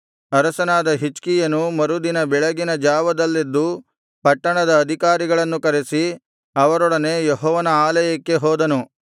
ಅರಸನಾದ ಹಿಜ್ಕೀಯನು ಮರುದಿನ ಬೆಳಗಿನ ಜಾವದಲ್ಲೆದ್ದು ಪಟ್ಟಣದ ಅಧಿಕಾರಿಗಳನ್ನು ಕರೆಸಿ ಅವರೊಡನೆ ಯೆಹೋವನ ಆಲಯಕ್ಕೆ ಹೋದನು